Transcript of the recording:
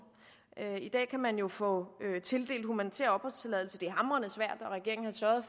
i dag kan man jo få tildelt humanitær opholdstilladelse det er hamrende svært